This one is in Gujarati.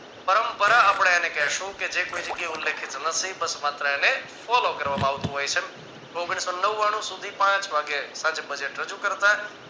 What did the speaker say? પરંપરા આપણે એને કહેશુ કે જે કોઈ જગ્યાએ ઉલ્લેખેલું નથી બસ માત્ર એને follow કરવામાં આવતું હોય છે ઓગણીસો ને નવાણું સુધી પાંચ વાગે સાંજે budget રજુ કરતા